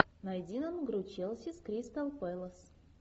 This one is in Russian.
найди нам игру челси с кристал пэлас